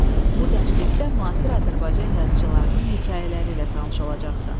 Bu dərslikdə müasir Azərbaycan yazıçılarının hekayələri ilə tanış olacaqsan.